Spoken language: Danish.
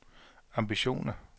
ambitioner